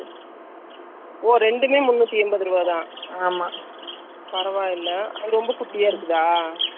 நான் என்ன பண்ணன்னா, car ready பண்ண கொடுத்த இடத்துல பாத்தாரு அந்த துணி super ஆ இருந்துச்சி.அனுபிரியா car ல இருக்கு அந்த மாதிரி .